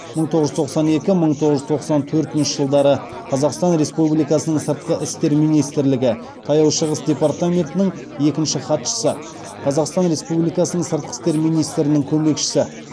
мы тоғыз жүз тоқсан екі мың тоғыз жүз тоқсан төртінші жылдары қазақстан республикасының сыртқы істер министрлігі таяу шығыс департаментінің екінші хатшысы қазақстан республикасының сыртқы істер министрінің көмекшісі